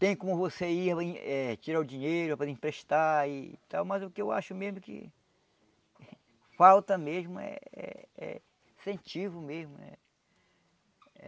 Tem como você ir, eh tirar o dinheiro para emprestar e tal, mas o que eu acho mesmo que falta mesmo eh é incentivo mesmo.